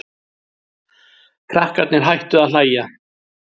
Krakkarnir hættu að hlæja.